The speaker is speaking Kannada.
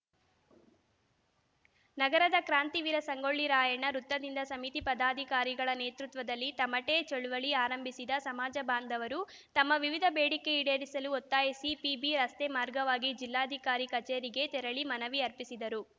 ನಗರದ ಕ್ರಾಂತಿವೀರ ಸಂಗೊಳ್ಳಿ ರಾಯಣ್ಣ ವೃತ್ತದಿಂದ ಸಮಿತಿ ಪದಾಧಿಕಾರಿಗಳ ನೇತೃತ್ವದಲ್ಲಿ ತಮಟೆ ಚಳವಳಿ ಆರಂಭಿಸಿದ ಸಮಾಜ ಬಾಂಧವರು ತಮ್ಮ ವಿವಿಧ ಬೇಡಿಕೆ ಈಡೇರಿಸಲು ಒತ್ತಾಯಿಸಿ ಪಿಬಿರಸ್ತೆ ಮಾರ್ಗವಾಗಿ ಜಿಲ್ಲಾಧಿಕಾರಿ ಕಚೇರಿಗೆ ತೆರಳಿ ಮನವಿ ಅರ್ಪಿಸಿದರು